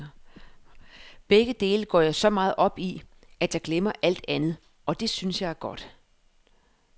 Begge dele går jeg så meget op i, at jeg glemmer alt andet, og det synes jeg er godt.